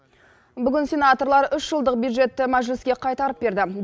бүгін сенаторлар үш жылдық бюджетті мәжіліске қайтарып берді